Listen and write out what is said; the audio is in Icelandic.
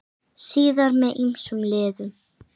Síðar með ýmsum liðum.